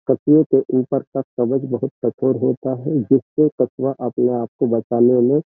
कछुए के ऊपर का कवच बहुत कठोर होता है जिससे कछुआ अपने आप को बचाने में --